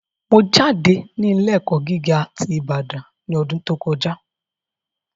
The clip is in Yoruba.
Mo jáde ní ilé ẹ̀kọ́ gíga ti Ibadan ní ọdún tó kọjá